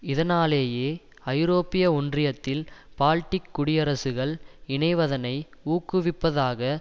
இதனாலேயே ஐரோப்பிய ஒன்றியத்தில் பால்டிக் குடியரசுகள் இணைவதனை ஊக்குவிப்பதாக